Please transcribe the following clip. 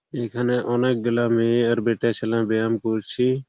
এখানে অনেকগুলা মেয়ে আর বেটা ছেলে বেয়াম করছে।